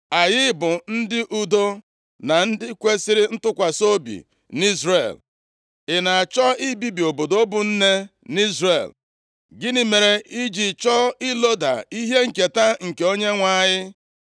Anyị bụ ndị udo na ndị kwesiri ntụkwasị obi nʼIzrel. I na-achọ ibibi obodo bụ nne nʼIzrel. Gịnị mere i ji chọọ iloda ihe nketa nke Onyenwe anyị?”